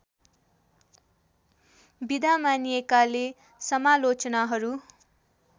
विधा मानिएकाले समालोचनाहरू